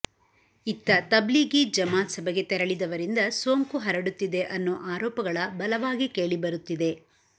ಇತ್ತ ತಬ್ಲೀಘಿ ಜಮಾತ್ ಸಭೆಗೆ ತೆರಳಿದವರಿಂದ ಸೋಂಕು ಹರಡುತ್ತಿದೆ ಅನ್ನೋ ಆರೋಪಗಳ ಬಲವಾಗಿ ಕೇಳಿಬರುತ್ತಿದೆ